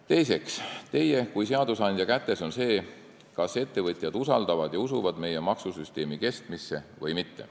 Teiseks, teie kui seadusandja kätes on see, kas ettevõtjad usaldavad meie maksusüsteemi ja usuvad selle kestmisse või mitte.